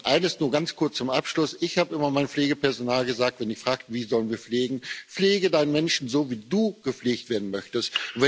Und eines nur ganz kurz zum Abschluss Ich habe immer zu meinem Pflegepersonal gesagt, wenn sie fragten, wie sie pflegen sollen Pflege deinen Menschen so, wie du gepflegt werden möchtest.